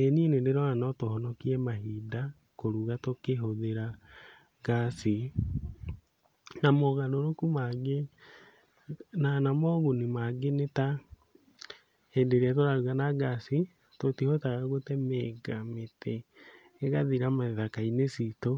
Ĩĩ niĩ nĩndĩrona no tũhonokie mahinda kũruga tũkĩhũthĩra ngaci, na mogarũrũku mangĩ na na moguni mangĩ nĩ ta, hĩndĩ ĩrĩa tũraruga na ngaci, tũtihotaga gũtemenga mĩtĩ ĩgathira ithaka-inĩ citũ,